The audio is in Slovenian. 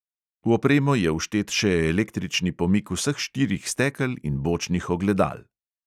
V opremo je vštet še električni pomik vseh štirih stekel in bočnih ogledal.